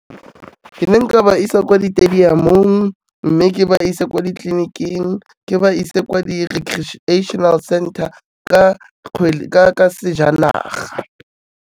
Ke ne nka ba isa kwa di-stadium-ong mme ke ba ise ko ditleliniking, ke ba ise kwa di-recreational center ka sejanaga.